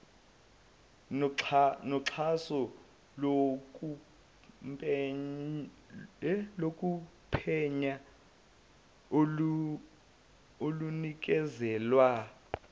noxhaso lokuphenya olunikezelwa